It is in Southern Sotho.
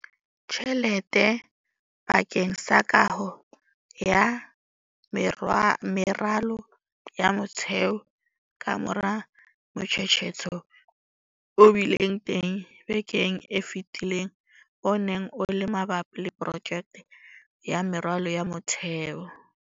tjhelete bakeng sa kaho ya meralo ya motheo kamora motshetshetho o bileng teng bekeng e fetileng o neng o le mabapi le projeke ya meralo ya motheo.